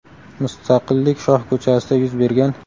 Mustaqillik shoh ko‘chasida yuz bergan.